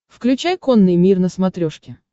включай конный мир на смотрешке